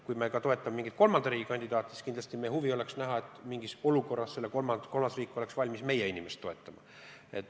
Kui me aga toetame mingit kolmanda riigi kandidaati, siis meie tahame näha, kuidas mingis olukorras see kolmas riik oleks valmis meie inimest toetama.